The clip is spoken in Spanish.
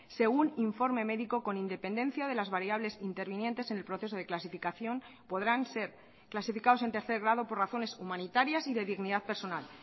según informe médico con independencia de las variables intervinientes en el proceso de clasificación podrán ser clasificados en tercer grado por razones humanitarias y de dignidad personal